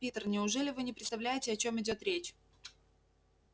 питер неужели вы не представляете о чём идёт речь